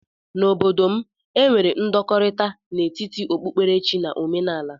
N'obodo m, e nwere ndọkọrita n'etiti okpukpere chi na ọmenaala.